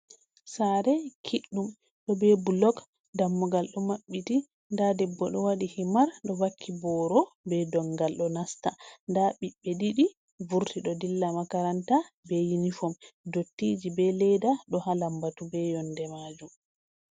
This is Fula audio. Saare kiɗɗum ɗo be bulog dammugal do mabbiti, nda debbo ɗo waɗi himar ɗo vakki boro be do ngal, ɗo nasta nda ɓiɓbe ɗiɗi vurti ɗo dilla makaranta, be inifom dottiji be leda do ha lambatu be yonde majum.